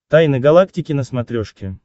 тайны галактики на смотрешке